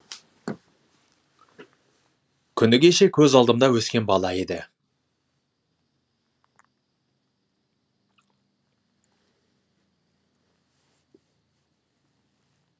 күні кеше көз алдымда өскен бала еді